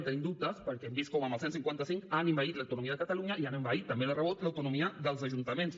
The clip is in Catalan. en tenim dubtes perquè hem vist com amb el cent i cinquanta cinc han envaït l’autonomia de catalunya i han envaït també de rebot l’autonomia dels ajuntaments